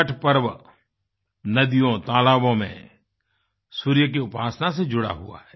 छठ पर्व नदियों तालाबों में सूर्य की उपासना से जुड़ा हुआ है